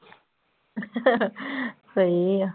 ਸਹੀ ਆ।